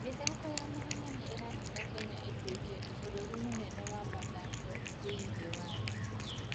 mĩthako ya mahenya nĩ ĩratũma Kenya ĩtuĩke bũrũri mũnene wa mathako thĩinĩ wa thĩ.